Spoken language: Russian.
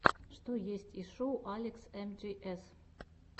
что есть из шоу алекс эмджиэс